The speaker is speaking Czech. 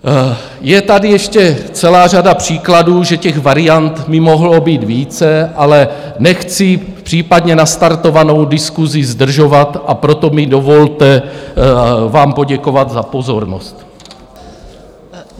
Je tady ještě celá řada příkladů, že těch variant by mohlo být více, ale nechci případně nastartovanou diskusi zdržovat, a proto mi dovolte vám poděkovat za pozornost.